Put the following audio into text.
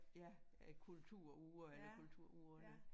Ja æ kulturuger eller kulturugerne